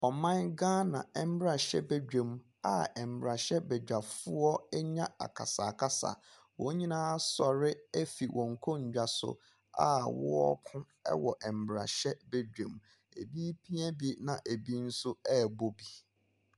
Ɔman Ghana mmarahyɛbadwam a mmarahyɛbadwafoɔ anya akasa akasa. Wɔn nyinaa asɔre afi wɔn nkonnwa so wɔreko wɔ mmarahyɛbadwam. Ebi reoia bi na ebi nso rebo bi.